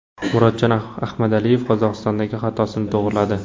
Murodjon Ahmadaliyev Qozog‘istondagi xatosini to‘g‘riladi.